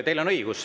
Teil on õigus.